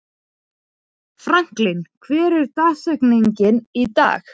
Franklin, hver er dagsetningin í dag?